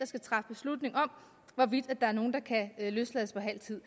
skal træffe beslutning om hvorvidt nogen kan løslades på halv tid